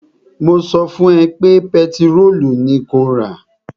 Mo sọ fún ẹ pé pẹtirólù ni kó rà!